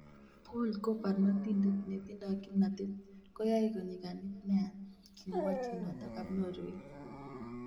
"Paul ko barnotindet netindo kimnatet - koyae konyiganit nea," kimwa chi noto ab Norway.